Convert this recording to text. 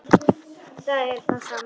Það er sama.